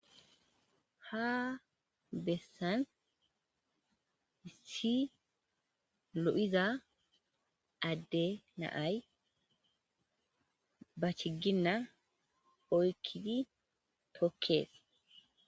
Ha bessan issi lo'iza ade na'ay ba chiggine oyqqidi tokkes.